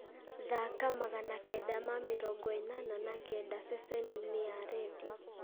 thaaka magana kenda ma mĩrongo ĩnana na kenda ceceni-inĩ ya rĩndiũ